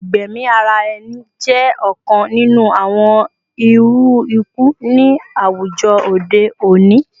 Igbẹmi ara ẹni jẹ ọkan ninu awọn iru iku ni awujọ ode oni